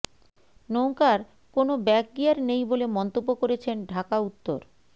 নৌকার কোনো ব্যাকগিয়ার নেই বলে মন্তব্য করেছেন ঢাকা উত্তর